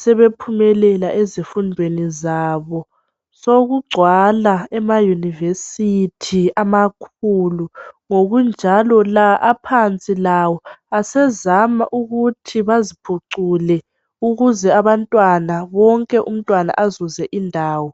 sebephumelela ezifundweni zabosokugcwala emayunivesithi amakhulu, ngokunjalo la aphansi lawo asezama ukuthi baziphucule ukuze umntwana wonke azuze indawo.